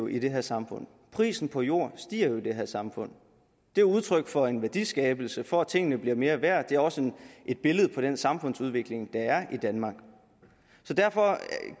i det her samfund prisen på jord stiger i det her samfund det er udtryk for en værdiskabelse for at tingene bliver mere værd og det er også et billede på den samfundsudvikling der i danmark derfor